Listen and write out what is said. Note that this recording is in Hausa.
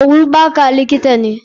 Olubaka likita ne.